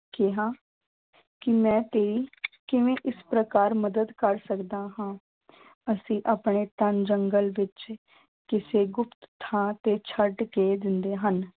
ਕਿਹਾ ਕਿ ਮੈਂ ਤੇਰੀ ਕਿਵੇਂ ਇਸ ਪ੍ਰਕਾਰ ਮਦਦ ਕਰ ਸਕਦਾ ਹਾਂ ਅਸੀਂ ਆਪਣੇ ਤਾਂ ਜੰਗਲ ਵਿੱਚ ਕਿਸੇ ਗੁਪਤ ਥਾਂ ਤੇ ਛੱਡ ਕੇ ਦਿੰਦੇ ਹਨ।